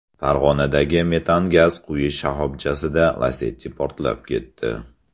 Farg‘onadagi metan gaz quyish shoxobchasida Lacetti portlab ketdi .